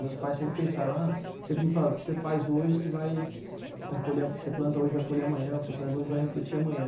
Meus pais sempre pensaram, ah sempre me falavam, o que você faz hoje, você vai, vai colher, o que você planta hoje vai colher amanhã, o que você faz hoje vai refletir amanhã.